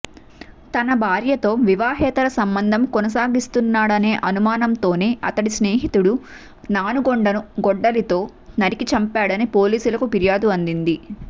తన భార్యతో వివాహేతర సంబంధం కొనసాగిస్తున్నాడనే అనుమానంతోనే అతడి స్నేహితుడు నానుగొండను గొడ్డలితో నరికి చంపాడని పోలీసులకు ఫిర్యాదు అందింది